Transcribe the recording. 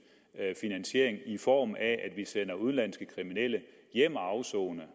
finansiering i form af at vi sender udenlandske kriminelle hjem at afsone